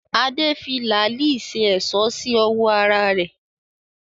Adé fi làálí ṣe èṣó sí ọwọ́ ara rẹ̀